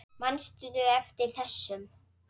Manstu eftir þessum?